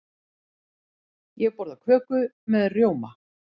Ég borða köku með rjóma.